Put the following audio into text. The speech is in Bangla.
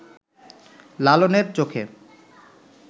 লালনের চোখে